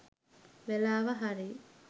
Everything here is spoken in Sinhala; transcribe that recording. වෙලාව හරි.